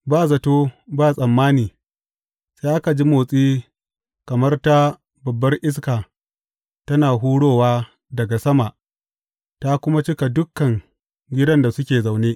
Ba zato ba tsammani sai aka ji motsi kamar ta babbar iska tana hurowa daga sama ta kuma cika dukan gidan da suke zaune.